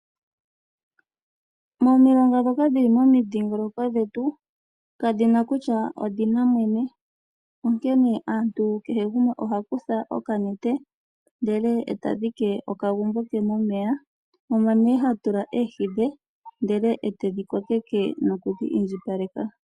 Momilonga ndhoka dhili momidhingoloko dhetu, kadhina kutya odhina mwene. Onkene aantu kehe gumwe oha kutha okanete, ndele e tadhike okagumbo ke momeya, omo nee hatula oohi dhe, ndele e tedhi kokeke nokudhi indjipaleka.